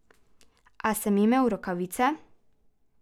A sem imel rokavice?